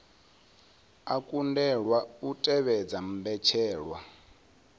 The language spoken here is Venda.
a kundelwa u tevhedza mbetshelwa